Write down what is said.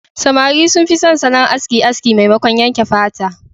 Samari sun fi son salon aski aski maimakon yanke fata.